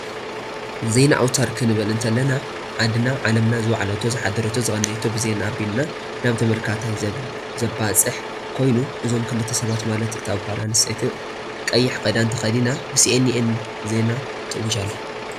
ዜና ኣውትር ክንብል እተለና ዓድና ዓለምና ዝወዓለቶ ዝሓደረቶ ዝቀነየቶ ብዜና ኣብሊካ ናብ ተመልካታይ ዘባፅሕ ኮይኑ እዞም ክልተ ሰባት ማለት እታ ጓል ኣነስተይቲ ቀይሕ ክዳን ተከዲና ብሲኣንኣን ዜና ትእውጅ ኣላ።